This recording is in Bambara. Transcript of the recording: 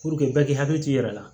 bɛɛ k'i hakili t'i yɛrɛ la